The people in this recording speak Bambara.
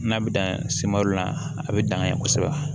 N'a bɛ dan la a bɛ dangan ye kosɛbɛ